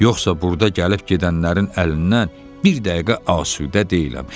Yoxsa burda gəlib-gedənlərin əlindən bir dəqiqə asudə deyiləm.